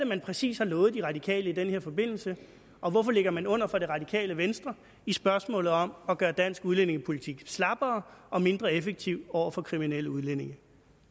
man præcis har lovet de radikale i den her forbindelse og hvorfor ligger man under for det radikale venstre i spørgsmålet om at gøre dansk udlændingepolitik slappere og mindre effektiv over for kriminelle udlændinge